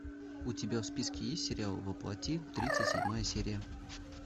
у тебя в списке есть сериал во плоти тридцать седьмая серия